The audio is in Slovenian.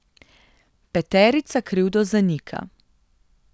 Peterica krivdo zanika.